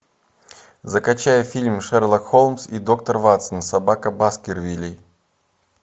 закачай фильм шерлок холмс и доктор ватсон собака баскервилей